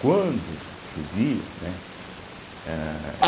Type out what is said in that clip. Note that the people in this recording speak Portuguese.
Quando chovia, né? âh